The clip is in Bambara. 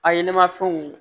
A ye ne ma fɛnw